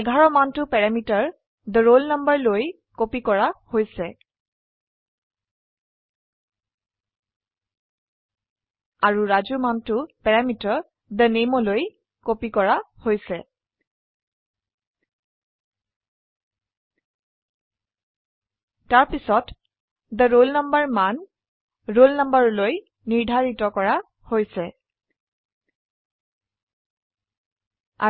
11 মানটো parameter the roll number লৈ copy কৰা হৈছে আৰু ৰাজু মানটো প্যাৰামিটাৰ the name লৈ কপি কৰা হৈছে তাৰপিছত the roll numberৰ মান roll number লৈ নিৰ্ধাৰিত কৰা হৈছে